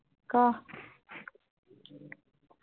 ক